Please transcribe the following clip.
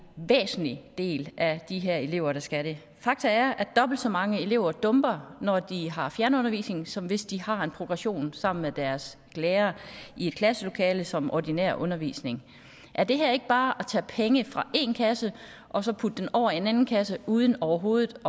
væsentlig del af de her elever der skal det fakta er at dobbelt så mange elever dumper når de har fjernundervisning som hvis de har en progression sammen med deres lærere i et klasselokale som ordinær undervisning er det her ikke bare at tage penge fra en kasse og så putte dem over i en anden kasse uden overhovedet